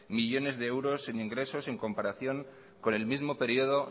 millónes de euros en ingresos en comparación con el mismo período